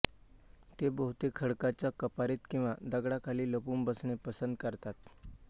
ते बहुतेक खडकाच्या कपारीत किंवा दगडाखाली लपून बसणे पसंत करतात